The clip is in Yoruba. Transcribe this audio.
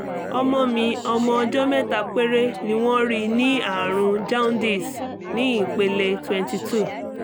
ọmọ mi ọmọ ọjọ́ mẹ́ta péré ni wọ́n rí ní àrùn jaundice ní ìpele twenty two